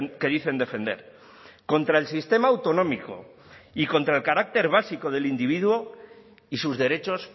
que dicen defender contra el sistema autonómico y contra el carácter básico del individuo y sus derechos